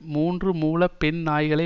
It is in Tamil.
மூன்று மூல பெண் நாய்களை